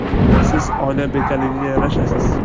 Siz oila bekaligiga yarashasiz.